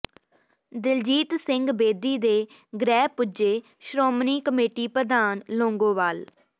ਦਿਲਜੀਤ ਸਿੰਘ ਬੇਦੀ ਦੇ ਗ੍ਰਹਿ ਪੁੱਜੇੇ ਸ਼੍ਰੋਮਣੀ ਕਮੇਟੀ ਪ੍ਰਧਾਨ ਲੌਂਗੋਵਾਲ